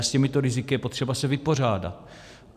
A s těmito riziky je potřeba se vypořádat.